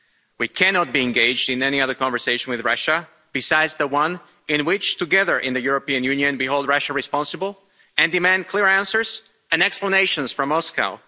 We cannot be engaged in any other conversation with Russia besides the one in which together in the European Union we hold Russia responsible, and demand clear answers and explanations from Moscow.